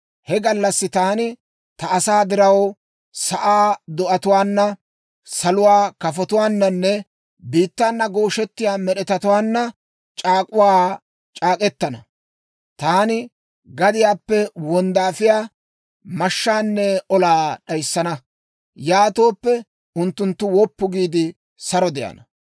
He gallassi taani ta asaa diraw sa'aa do'atuwaana, saluwaa kafotuwaananne biittaana gooshettiyaa med'etatuwaanna c'aak'uwaa c'aak'k'etana. Taani gadiyaappe wonddaafiyaa, mashshaanne olaa d'ayissana; yaatooppe unttunttu woppu giide, saro de'ana.